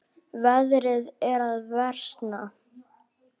Veðrið er að versna.